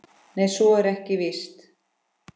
Nei, svo er víst ekki.